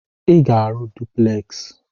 Ị ga-arụ dupleksị!